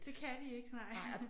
Det kan de ikke nej